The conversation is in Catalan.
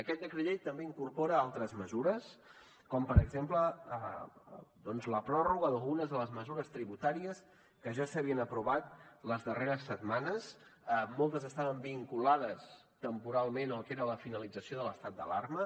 aquest decret llei també incorpora altres mesures com per exemple doncs la pròrroga d’algunes de les mesures tributàries que ja s’havien aprovat les darreres setmanes moltes estaven vinculades temporalment al que era la finalització de l’estat d’alarma